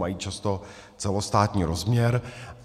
Mají často celostátní rozměr.